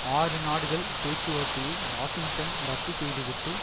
ஆறு நாடுகள் பேச்சுவார்த்தையை வாஷிங்டன் ரத்து செய்துவிட்டு